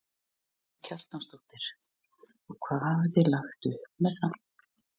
Karen Kjartansdóttir: Og hvað hafið þið lagt upp með?